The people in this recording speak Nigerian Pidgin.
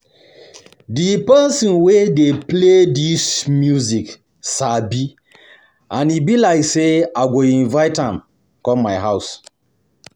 The person wey dey play dis music sabi and e be like say I go invite am come my house